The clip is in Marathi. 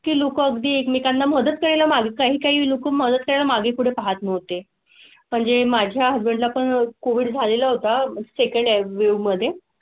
तील उकडी एकमेकांना मदत करण्या मागे काही काही लोक मदत कर मागे पुढे पाहत नव्हते. म्हणजे माझ्या हजबंड आपण कोविड झालेला होता सेकंड वॉव मध्ये